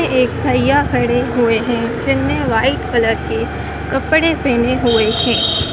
ये एक भईया खड़े हुए हैं जिन्हें व्हाइट कलर के कपड़े पहने हुए हैं।